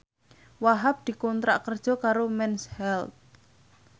Wahhab dikontrak kerja karo Mens Health